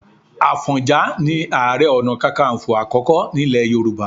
Àfọ̀njá ni Ààrẹ Ọ̀nà Kakaǹfò àkọ́kọ́ nílẹ̀ Yorùbá.